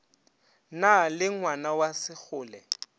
na le ngwana wa segole